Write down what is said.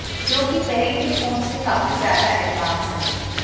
जो कि पहले के फोन से काफी ज्यादा एडवांस हैं